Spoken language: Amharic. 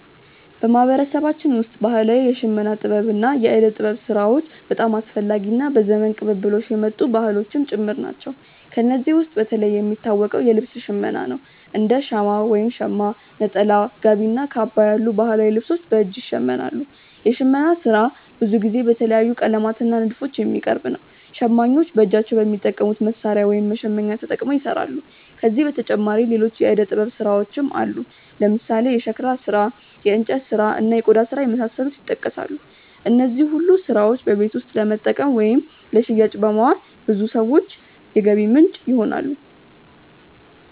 በማህበረሰባችን ውስጥ ባህላዊ የሽመና ጥበብ እና የእደ ጥበብ ስራዎች በጣም አስፈላጊ እና በዘመን ቅብብሎሽ የመጡ ባህሎችም ጭምር ናቸው። ከእነዚህ ውስጥ በተለይ የሚታወቀው የልብስ ሽመና ነው፤ እንደ ሻማ (ሸማ)፣ ነጠላ፣ ጋቢ እና ካባ ያሉ ባህላዊ ልብሶች በእጅ ይሸመናሉ። የሽመና ስራ ብዙ ጊዜ በተለያዩ ቀለማት እና ንድፎች የሚቀርብ ነው። ሸማኞች በእጃቸው በሚጠቀሙት መሣሪያ (መሸመኛ)ተጠቅመው ይሰራሉ። ከዚህ በተጨማሪ ሌሎች የእደ ጥበብ ስራዎችም አሉ፦ ለምሳሌ የሸክላ ስራ፣ የእንጨት ስራ፣ እና የቆዳ ስራ የመሳሰሉት ይጠቀሳሉ። እነዚህ ሁሉ ስራዎች በቤት ውስጥ ለመጠቀም ወይም ለሽያጭ በማዋል ለብዙ ሰዎች የገቢ ምንጭ ይሆናሉ።